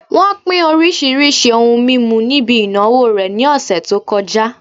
Wón pín oríṣiríṣi ohun mímu níbi ìnáwó rẹ̀ ní ọ̀sẹ̀ tó kọjá